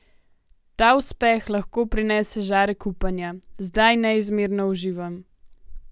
Ta uspeh lahko prinese žarek upanja: "Zdaj neizmerno uživam.